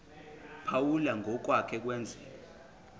phawula ngokwake kwenzeka